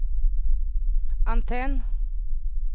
antenn